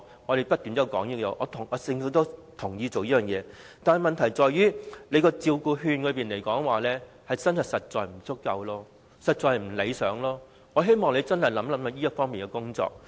我們不斷提出這項要求，政府亦同意推行，但問題在於照顧服務券的數量實在不足夠，情況不理想，我希望政府能認真考慮這方面的工作。